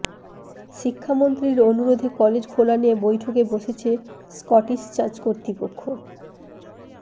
শিক্ষামন্ত্রীর অনুরোধে কলেজ খোলা নিয়ে বৈঠকে বসছে স্কটিশ চার্চ কর্তৃপক্ষ